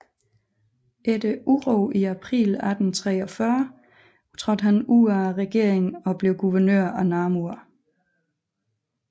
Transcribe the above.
Efter uro i april 1834 trådte han ud af regeringen og blev guvernør af Namur